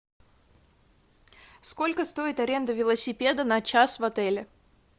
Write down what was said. сколько стоит аренда велосипеда на час в отеле